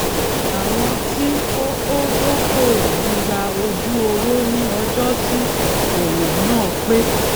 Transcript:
àwọn tí ó ó dókòwò ń gba ojú owó ní ọjó tí òwò náà pé